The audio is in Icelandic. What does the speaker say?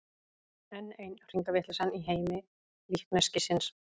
Enn ein hringavitleysan í heimi líkneskisins.